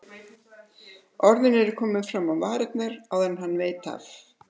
Orðin eru komin fram á varirnar áður en hann veit af.